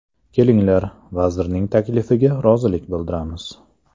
Kelinglar, vazirning taklifiga rozilik bildiramiz”.